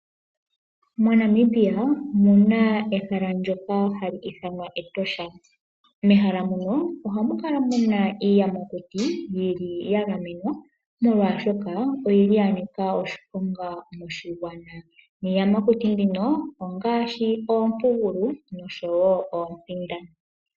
MoNamibia omuna ehala ndyoka hali ithanwa Etosha National Park . Mehala muno ohamu kala muna iiyamakuti yili yagamenwa molwaashoka oyili yanika oshiponga moshigwana, niiyamati mbino ongaashi oompugulu noshowoo oompinda.